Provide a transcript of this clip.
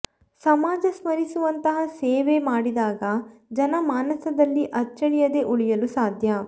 ಸಮಾಜ ಸ್ಮರಿಸುಂತಹ ಸೇವೆ ಮಾಡಿದಾಗ ಜನ ಮಾನಸದಲ್ಲಿ ಅಚ್ಚಳಿಯದೆ ಉಳಿಯಲು ಸಾಧ್ಯ